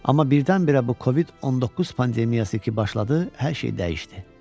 Amma birdən-birə bu COVID-19 pandemiyası ki başladı, hər şey dəyişdi.